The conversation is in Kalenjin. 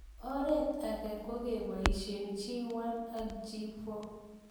oret age kogebaishe G1 ak G4